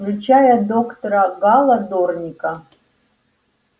включая доктора гаала дорника